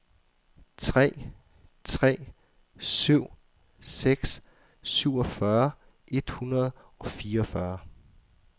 tre tre syv seks syvogfyrre et hundrede og fireogfyrre